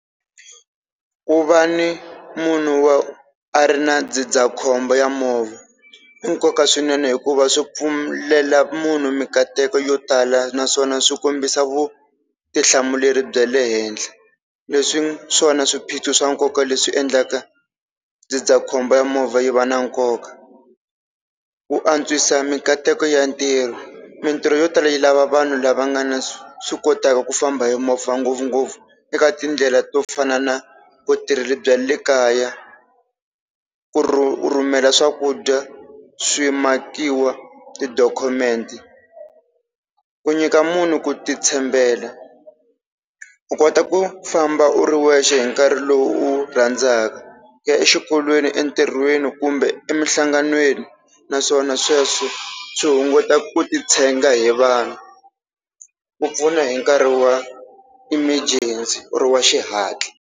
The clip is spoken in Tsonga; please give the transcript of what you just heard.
Ku va ni munhu wa a ri na ndzindzakhombo wa movha i nkoka swinene hikuva swi pfumelela munhu mikateko yo tala, naswona swi kombisa vutihlamuleri bya le henhla leswi swona swiphiqo swa nkoka leswi endlaka ndzindzakhombo wa movha yi va na nkoka. Ku antswisa mikateko ya ntirho, mintirho yo tala yi lava vanhu lava nga na swi kotaka ku famba hi movha ngopfungopfu eka tindlela to fana na vutirhela bya le kaya, ku rhumela swakudya, swimakiwa, tidokhumente, ku nyika munhu ku ti tshembela u kota ku famba u ri wexe hi nkarhi lowu u wu rhandza ku ya exikolweni entirhweni kumbe emihlanganweni naswona sweswo swi hunguta ku titshega hi vanhu ku pfuna hi nkarhi wa emergency or wa xihatla.